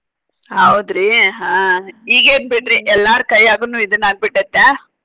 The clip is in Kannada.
ಹೌದ್ರಿ ಹಾ ಈಗೇನ್ ಬಿಡ್ರಿ ಎಲ್ಲಾರ್ ಕೈಯಾಗುನು ಇದನ ಆಗಿ ಬಿಟ್ಟೆತ್ಯಾ.